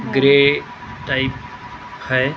Grey type है ।